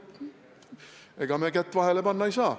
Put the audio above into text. Ega me kätt vahele panna ei saa.